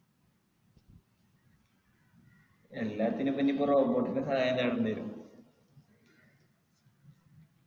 എല്ലാത്തിനുപ്പോ ഇനിപ്പൊ robot ൻ്റെ സഹായം തേടേണ്ടി വരും